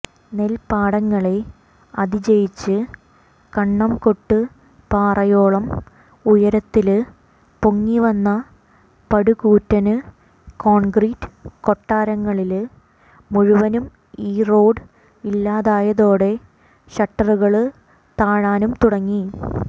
നെല്പ്പാടങ്ങളെ അതിജയിച്ച് കണ്ണംകൊട്ട്പാറയോളം ഉയരത്തില് പൊങ്ങിവന്ന പടുകൂറ്റന് കോണ്ഗ്രീറ്റ് കൊട്ടാരങ്ങളില് മുഴുവനും ഈ റോഡ് ഇല്ലാതായതോടെ ഷട്ടറുകള് താഴാനും തുടങ്ങി